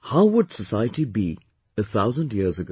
How would society be a thousand years ago